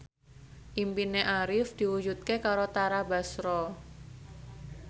impine Arif diwujudke karo Tara Basro